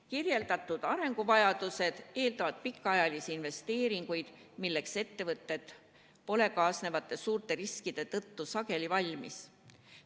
Kirjeldatud arenguvajadused eeldavad pikaajalisi investeeringuid, milleks ettevõtted pole suurte kaasnevate riskide tõttu sageli valmis.